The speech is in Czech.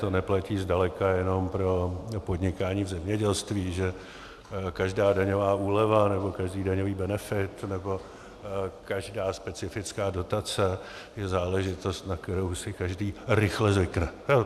To neplatí zdaleka jenom pro podnikání v zemědělství, že každá daňová úleva, nebo každý daňový benefit, nebo každá specifická dotace je záležitost, na kterou si každý rychle zvykne.